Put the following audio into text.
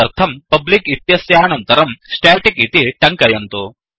तदर्थं publicपब्लिक् इत्यस्यानन्तरं staticस्टेटिक् इति टङ्कयन्तु